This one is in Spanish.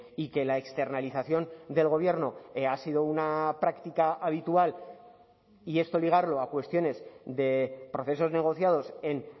y que la externalización del gobierno ha sido una práctica habitual y esto ligarlo a cuestiones de procesos negociados en